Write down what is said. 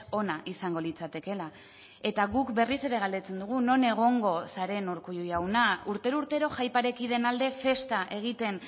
ona izango litzatekeela eta guk berriz ere galdetzen dugu non egongo zaren urkullu jauna urtero urtero jai parekideen alde festa egiten